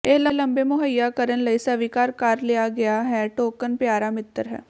ਇਹ ਲੰਬੇ ਮੁਹੱਈਆ ਕਰਨ ਲਈ ਸਵੀਕਾਰ ਕਰ ਲਿਆ ਗਿਆ ਹੈ ਟੋਕਨ ਪਿਆਰਾ ਮਿੱਤਰ ਹੈ